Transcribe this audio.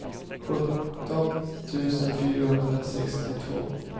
sjutton tusen fyrahundrasextiotvå